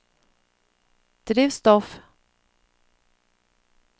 drivstoff